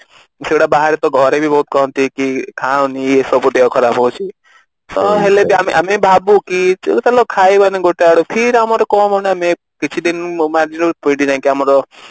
ସେଇଗୁଡା ବାହାରେ ବି ବହୁତ ଘରେ ବି ଇଏ କରନ୍ତି କହନ୍ତି ଖାଅନି ସବୁ ଦେହ ଖରାପ ହଉଛି ତ ହେଲେ ଆମେ ବି ଭାବୁ କି ଚାଲ ଖାଇବାନୀ ଗୋଟେ ଆଡୁ ଫିର ଆମର କଣ ମାନେ କିଛି ଦିନ